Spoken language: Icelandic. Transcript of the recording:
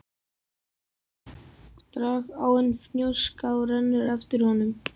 Dragáin Fnjóská rennur eftir honum.